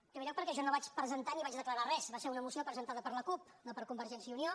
en primer lloc perquè jo no vaig presentar ni vaig declarar res va ser una moció presentada per la cup no per convergència i unió